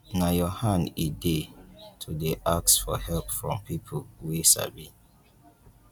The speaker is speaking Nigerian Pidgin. na your hand e dey to dey ask help from pipo wey sabi.